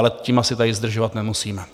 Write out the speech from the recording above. Ale tím asi tady zdržovat nemusíme.